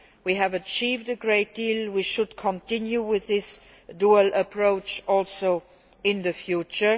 We have achieved a great deal and we should continue with this dual approach in the future.